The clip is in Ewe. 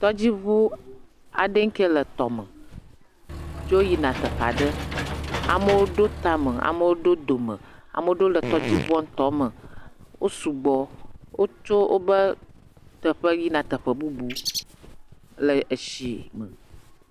Tɔdziŋu aɖe kea le tɔ me dzo yina teƒe aɖe. Amewo ɖo ta me, amewo ɖo dome, ame aɖewo le tɔdziŋua ŋutɔ me. Wo sugbɔ, wotso wobe teƒe yina teƒe bubu le etsi me.